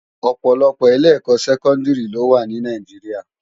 Òpòlòpò ilé èkò sèkòndiri ló wá ni Náijiriá